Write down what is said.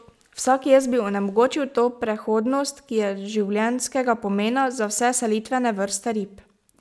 Vsak jez bi onemogočil to prehodnost, ki je življenjskega pomena za vse selitvene vrste rib.